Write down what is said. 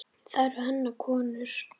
Það eru hennar konur.